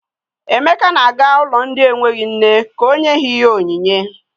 Emeka na-aga ụlọ ndị enweghi nne ka o nye ha ihe onyinye.